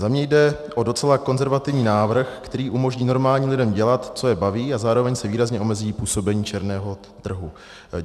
Za mě jde o docela konzervativní návrh, který umožní normálním lidem dělat, co je baví, a zároveň se výrazně omezí působení černého trhu.